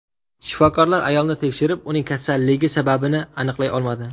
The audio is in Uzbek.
Shifokorlar ayolni tekshirib, uning kasalligi sababini aniqlay olmadi.